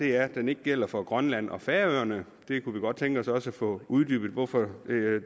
er at den ikke gælder for grønland og færøerne vi kunne godt tænke os at få uddybet hvorfor